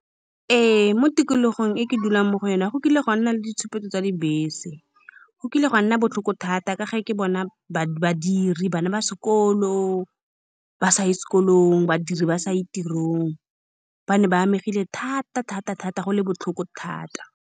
Ee, mo tikologong e ke dulang mo go yone go kile ga nna le ditshupetso tsa dibese. Go kile ga nna botlhoko thata ka ge ke bona ba badiri, bana ba sekolo ba sa ye sekolong, badiri ba sa ye tirong. Ba ne ba amegile thata-thata-thata, go le botlhoko thata.